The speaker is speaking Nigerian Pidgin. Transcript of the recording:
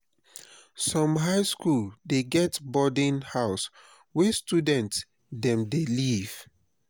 some high skool dey get boarding house where student dem dey live.